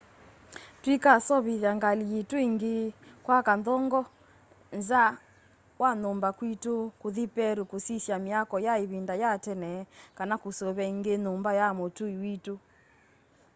tuikaseovithya ngali yitu ĩngĩ kwaka nthongo nza wa nyumba kwĩtũ kũthĩ perũ kũsĩsya myako ya ĩvĩnda ya tene kana kũseũvya ĩngĩ nyũmba ya mũtũĩ wĩtũ